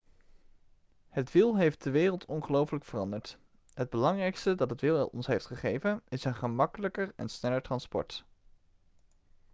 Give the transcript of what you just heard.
het wiel heeft de wereld ongelooflijk veranderd het belangrijkste dat het wiel ons heeft gegeven is een gemakkelijker en sneller transport